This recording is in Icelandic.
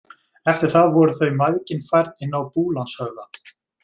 Eftir það voru þau mæðgin færð inn til Búlandshöfða.